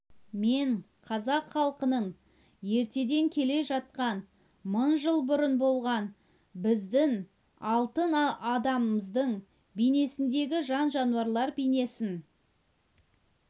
мен қазақ халқының ертеден келе жатқан мың жыл бұрын болған біздің алтын адамымыздың бейнесіндегі жан-жануарлар бейнесін